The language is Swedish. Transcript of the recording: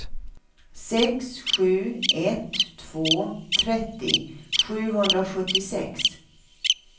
sex sju ett två trettio sjuhundrasjuttiosex